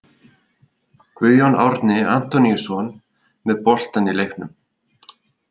Guðjón Árni Antoníusson með boltann í leiknum.